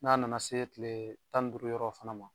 N'a nana se kile tan ni duuru yɔrɔ fana ma.